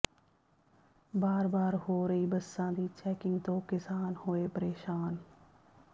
ਬਾਰ ਬਾਰ ਹੋ ਰਹੀ ਬੱਸਾਂ ਦੀ ਚੈਕਿੰਗ ਤੋਂ ਕਿਸਾਨ ਹੋਏ ਪ੍ਰੇਸ਼ਾਨ